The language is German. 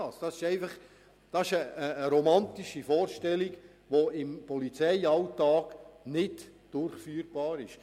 Das ist eine romantische Vorstellung, die im Polizeialltag nicht umsetzbar ist.